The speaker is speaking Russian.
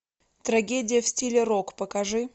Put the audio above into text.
трагедия в стиле рок покажи